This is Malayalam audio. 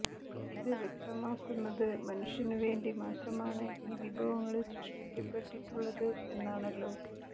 ഇത് വ്യക്തമാക്കുന്നത് മനുഷ്യനു വേണ്ടി മാത്രമാണ് ഈ വിഭവങ്ങള് സൃഷ്ടിക്കപ്പെട്ടിട്ടുള്ളത് എന്നാണല്ലോ